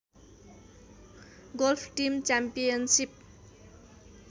golf team championship